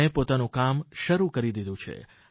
તેણે પોતાનું કામ શરૂ કરી દીધું છે